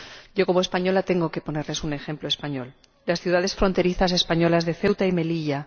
Yo, como española, tengo que ponerles un ejemplo español las ciudades fronterizas españolas de Ceuta y Melilla.